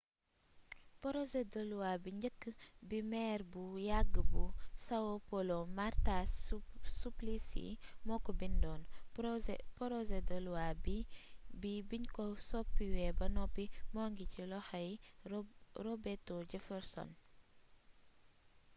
porosé de luwa bi njëkk bi meer bu yàgg bu são paulo marta suplicy moo ko bindoon porosé de luwa bi biñ ko soppiwee ba noppi moo ngi ci loxol robeto jefferson